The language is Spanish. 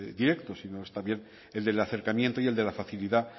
directo sino es también el del acercamiento y el de la facilidad